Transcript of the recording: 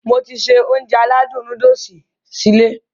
Mo ti se Ounjẹ aládùn nóódùsì sí ilé